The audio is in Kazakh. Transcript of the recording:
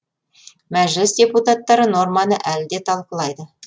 мәжіліс депутаттары норманы әлі де талқылайды